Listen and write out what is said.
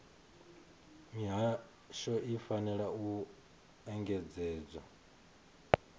mihasho i fanela u engedzedza